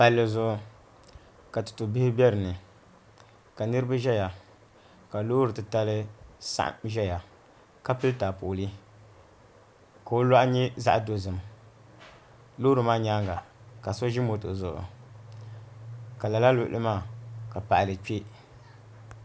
Palli zuɣu ka tutu bihi bɛ dinni ka niraba ʒɛya ka Loori titali saɣam ʒɛya ka pili taapooli ka o loɣu nyɛ zaɣ dozim loori maa nyaanga ka so ʒi moto zuɣu ka lala luɣuli maa ka paɣali kpɛ